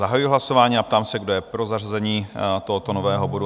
Zahajuji hlasování a ptám se, kdo je pro zařazení tohoto nového bodu?